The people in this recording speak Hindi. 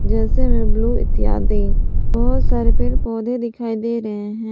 जैसे मैं ब्लू इतिहास दिन और बहुत सारे पेड़ पौधे दिखाई दे रहे हैं।